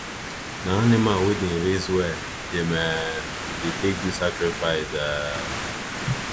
na animal wey them raise well them um dey take do sacrifice um